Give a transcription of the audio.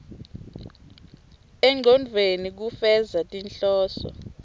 engcondvweni kufeza tinhloso